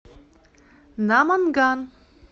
наманган